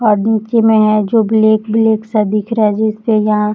और नीचे में है जो ब्लैक ब्लैक सा दिख रहा है जिस पे यहाँ --